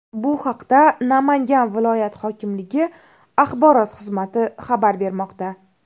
Bu haqda Namangan viloyat hokimligi axborot xizmati xabar bermoqda .